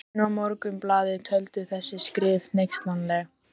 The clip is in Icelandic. Tíminn og Morgunblaðið töldu þessi skrif hneykslanleg.